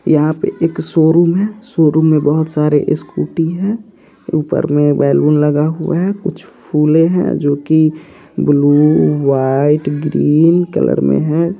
यहाँ पे एक शोरूम हैं। शोरूम मैं बहुत सारे स्कूटी हैं ऊपर में बैलून लगा हुआ है कुछ फूलें हैं जो की ब्लू वाइट ग्रीन कलर में हैं।